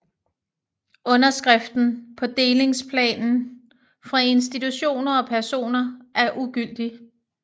Underskriften på delingsplanen fra institutioner og personer er ugyldig